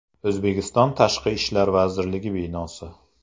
O‘zbekiston Tashqi ishlar vazirligi binosi.